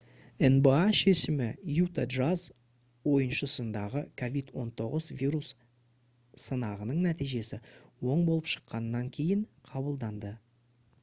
nba шешімі utah jazz ойыншысындағы covid-19 вирус сынағының нәтижесі оң болып шыққаннан кейін қабылданды